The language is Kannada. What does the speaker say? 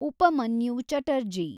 ಉಪಮನ್ಯು ಚಟರ್ಜಿ